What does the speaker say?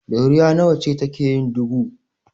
Ɗoriya nawa ce take yin dubu?